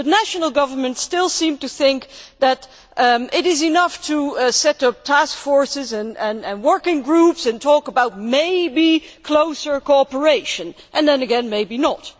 But national governments still seem to think that it is enough to set up task forces and working groups and talk about maybe seeking closer cooperation, and then again maybe not.